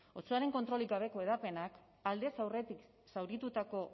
otsoaren kontrolik gabeko hedapenak aldez aurretik zauritutako